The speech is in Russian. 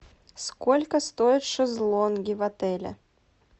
сколько стоят шезлонги в отеле